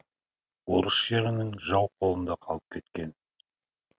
орыс жерінің жау қолында қалып кеткен